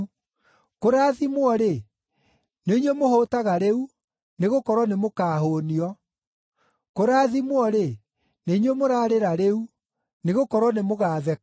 Kũrathimwo-rĩ, nĩ inyuĩ mũhũũtaga rĩu, nĩgũkorwo nĩmũkahũũnio. Kũrathimwo-rĩ, nĩ inyuĩ mũrarĩra rĩu, nĩgũkorwo nĩmũgatheka.